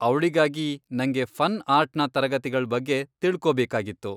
ಅವ್ಳಿಗಾಗಿ ನಂಗೆ ಫನ್ ಆರ್ಟ್ನ ತರಗತಿಗಳ್ ಬಗ್ಗೆ ತಿಳ್ಕೋಬೇಕಾಗಿತ್ತು.